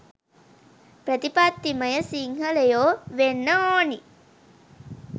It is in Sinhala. ප්‍රතිපත්තිමය සිංහලයෝ වෙන්න ඕනි